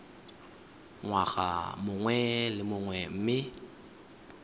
ngwaga mongwe le mongwe mme